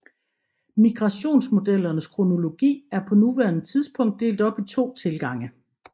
Migrationmodellernes kronologi er på nuværende tidspunkt delt op i to tilgange